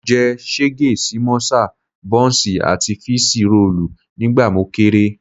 Mo jẹ ṣégè sí mọ́sà, bọ́ǹsì àti fííṣí roòlù nígbà mo kéré